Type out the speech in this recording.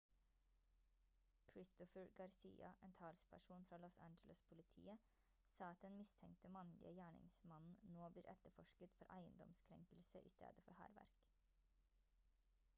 christopher garcia en talsperson for los angeles-politiet sa at den mistenkte mannlige gjerningsmannen nå blir etterforsket for eiendomskrenkelse i stedet for hærverk